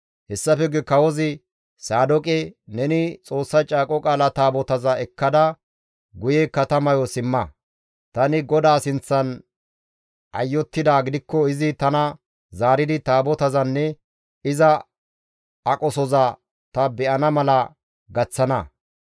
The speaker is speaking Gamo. Hessafe guye kawozi Saadooqe, «Neni Xoossa Caaqo Qaala Taabotaza ekkada guye katamayo simma. Tani GODAA sinththan ayottidaa gidikko izi tana zaaridi Taabotazanne iza aqosoza ta be7ana mala gaththana.